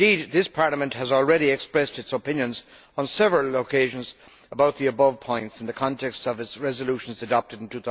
This Parliament has already expressed its opinions on several occasions about the above points in the context of its resolutions adopted in